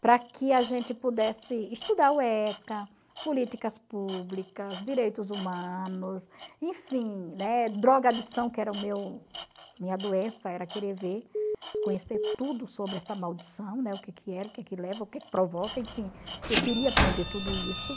para que a gente pudesse estudar o ECA, políticas públicas, direitos humanos, enfim, né, drogadição, que era o meu a minha doença, era querer ver, conhecer tudo sobre essa maldição, né, o que que era, o que que leva, o que provoca, enfim, eu queria aprender tudo isso.